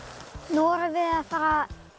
nú erum við að fara að